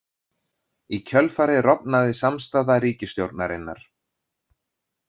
Í kjölfarið rofnaði samstaða ríkisstjórnarinnar.